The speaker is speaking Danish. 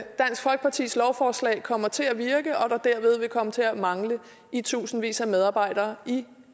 folkepartis lovforslag kommer til at virke og der derved vil komme til at mangle i tusindvis af medarbejdere i